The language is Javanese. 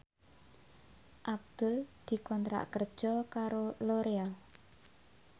Abdul dikontrak kerja karo Loreal